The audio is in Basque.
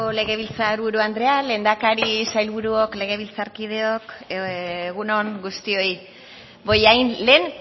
legebiltzar buru andrea lehendakari sailburuok legebiltzarkideok egun on guztioi bollain lehen